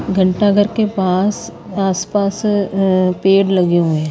घंटाघर के पास आसपास अ पेड़ लगे हुए हैं।